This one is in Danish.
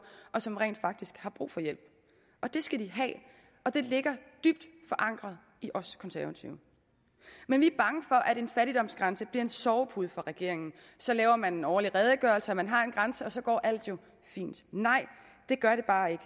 og som rent faktisk har brug for hjælp det skal de have og det ligger dybt forankret i os konservative men vi er bange for at en fattigdomsgrænse bliver en sovepude for regeringen så laver man en årlig redegørelse og man har en grænse og så går alt jo fint nej det gør det bare ikke